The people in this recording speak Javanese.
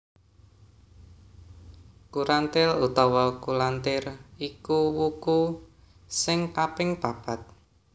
Kurantil utawa Kulantir iku wuku sing kaping papat